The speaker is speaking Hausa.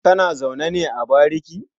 Kana zaune ne a bariki?